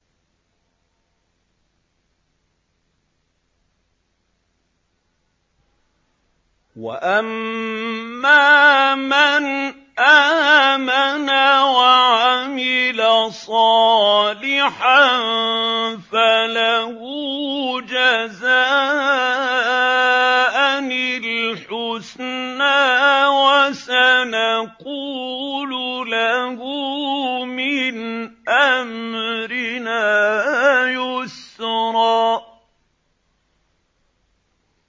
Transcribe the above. وَأَمَّا مَنْ آمَنَ وَعَمِلَ صَالِحًا فَلَهُ جَزَاءً الْحُسْنَىٰ ۖ وَسَنَقُولُ لَهُ مِنْ أَمْرِنَا يُسْرًا